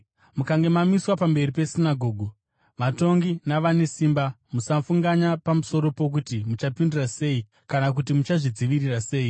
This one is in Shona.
“Mukange mamiswa pamberi pesinagoge, vatongi navane simba, musafunganya pamusoro pokuti muchapindura sei kana kuti muchazvidzivirira sei,